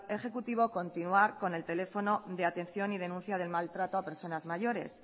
ejecutivo continuar con el teléfono de atención y denuncia del maltrato a personas mayores